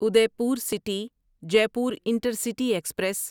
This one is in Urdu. Udaipur city Jaipur intercity express